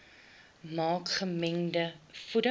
maak gemengde voeding